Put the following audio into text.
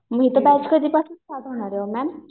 मग इथं होणार आहे मॅम?